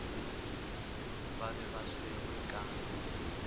ba be ba swerwe ka